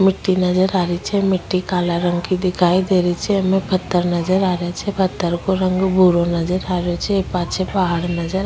मिटटी नजर आ रही छे मिटटी काला रंग की दिखाई दे रही छे पत्थर को रंग भूरो नजर आ रेहो छ पाछे पहाड़ नज --